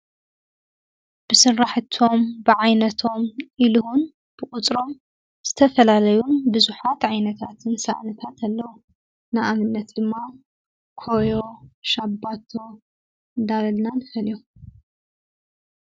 ብስራሕቶሞ ፣ብዓይነቶሞ እሉውን ብቁፅሮሞ ዝተፈላለዩ ቡዛሓት ዓይነታት ሰእንታት ኣለዉ። ንኣብነት ድማ ኮዮ፣ ሻባቶ እንዳበልና ንፎሊዮሞ።